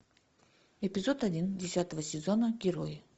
эпизод один десятого сезона герои